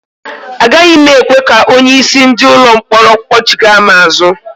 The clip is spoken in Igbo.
Agaghị m ekwe ka onye isi ndị ụlọ mkpọrọ kpọchigha m azụ